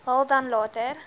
haal dan later